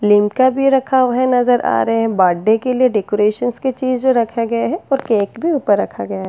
लिमका भी रखा हुआ है नज़र आ रहे हैं बर्थडे के लिए डेकोरेशंस की चीज जो रखे गए हैं और केक भी ऊपर रखा गया है।